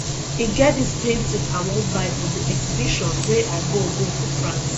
e get dis painting i wan buy from the exhibition wey i go go for france